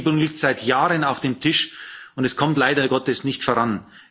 Die Gesetzgebung liegt seit Jahren auf dem Tisch und kommt leider Gottes nicht voran.